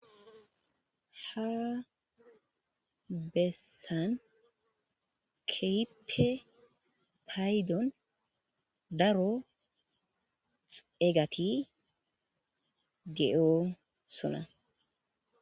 Ha bessani keehippe Paydon daro eegati de7oosona